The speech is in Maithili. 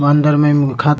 ए में अंदर मे मुर्खा --